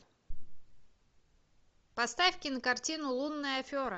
поставь кинокартину лунная афера